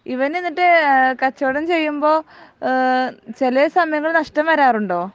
ഇവനിന്നിട്ട് കച്ചവടം ചെയ്യുമ്പോ ഏഹ് ചെലെ സമയങ്ങളിൽ നഷ്ട്ടം വരാറുണ്ടോ